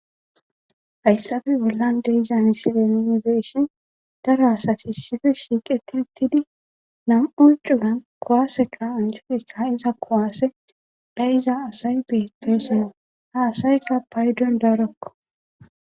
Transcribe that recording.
Hayssafe bollan deiza misile inibeshhin daro asati issife shiiqeti uttidi nam7u cugan kowaaseka anselika iza kowaasse ba iza asay beteeshino ha asayka paydon darokko.